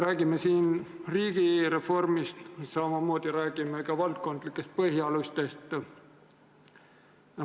Räägime siin riigireformist, samamoodi räägime ka valdkondlikest põhialustest.